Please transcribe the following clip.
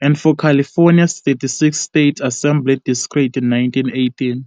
and for California's 36th State Assembly district in 1918.